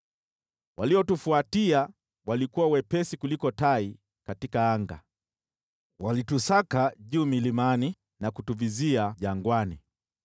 Waliotufuatia walikuwa wepesi kuliko tai angani; walitusaka juu milimani na kutuvizia jangwani.